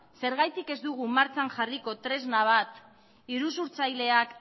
zergatik ez dugu martxan jarriko tresna bat iruzurtzaileak